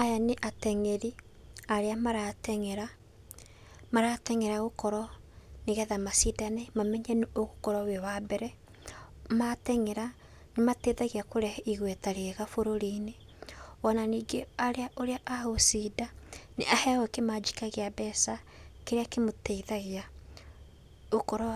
Aya nĩ ateng'eri arĩa marateng'era. Marateng'era gũkorwo nĩgetha macindane mamenye nũ ũgũkorwo wĩ wa mbere. Marateng'era nĩ mateithagia kũrehe igweta rĩega burũri-inĩ. O na ningĩ ũrĩa agũcinda, nĩ aheagwo kĩmanjika kĩa mbeca kĩrĩa kĩmũteithagia gũkorwo